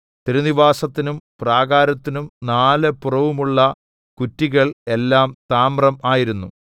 തിരുനിവാസത്തിനും പ്രാകാരത്തിനും നാല് പുറവുമുള്ള കുറ്റികൾ എല്ലാം താമ്രം ആയിരുന്നു